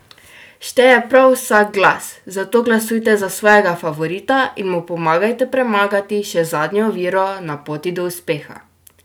Šteje prav vsak glas, zato glasujte za svojega favorita in mu pomagajte premagati še zadnjo oviro na poti do uspeha!